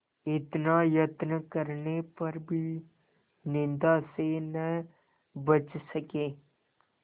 इतना यत्न करने पर भी निंदा से न बच सके